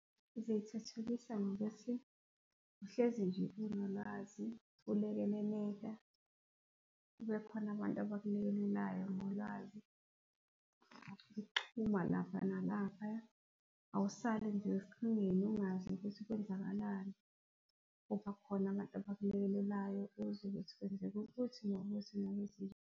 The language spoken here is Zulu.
Zithuthukisa ngokuthi uhlezi nje unolwazi, ulekeleleka, kubekhona abantu abakulekelelayo ngolwazi. Ixhuma lapha nalaphaya, awusale nje ungazi ukuthi kwenzakalani. Kuba khona abantu abakulekelelayo uzwe ukuthi kwenzeka ukuthi nokuthi .